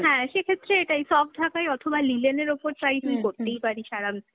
হ্যাঁ, সেক্ষেত্রে এটাই soft ঢাকাই অথবা linen এর ওপর try তুই করতেই পারিস, আরামসে।